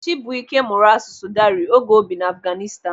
Chibuike mụrụ asụsụ Dari oge o bi n'Afghanistan.